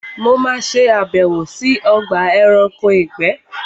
Mo ma ṣe àbẹ̀wò sí Ogba eranko ìgbé